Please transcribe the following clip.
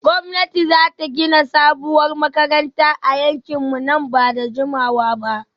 Gwamnati za ta gina sabuwar makarantar a yankinmu nan ba da jimawa ba